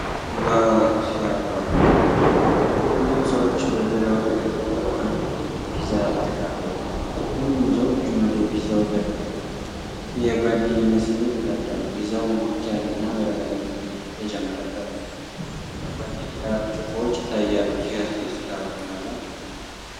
ዋው ሲያጓጓ! ቡድን ሰዎች በዙሪያው ተቀምጠው አንድ ትልቅ ፒዛ እየተካፈሉ። ሁሉም ሰው እጁን ወደ ፒዛው ዘርግቷል፤ ይህ የጓደኝነት ስሜት ይፈጥራል። ፒዛው ሞቅ ያለና በርበሬ የተጨመረበት ነው። ከጎን የቢራ ብርጭቆዎች ይታያሉ። ሲያስደስት! አብሮ መብላት!